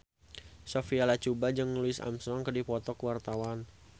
Sophia Latjuba jeung Louis Armstrong keur dipoto ku wartawan